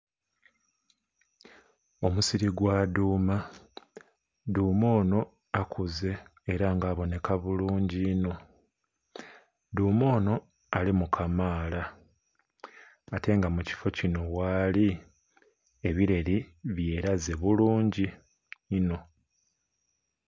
Omusiri gwa dhuuma, dhuuma onho akuze ela nga abonheka bulungi inho. Dhuuma onho alimu kamaala ate nga mu kifo kino ghali ebileri byelaze bulungi inho.